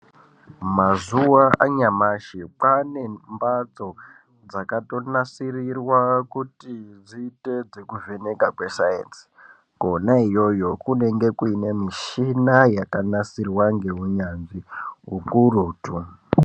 Mazuva anyamashi kwane mbatso dzakatonasirirwa kuti dziite zvekuvhenekwa kwesainzi. Kona iyoyo kunenge kune mishina yakanasirwa ngeunyanzvi ukurutu.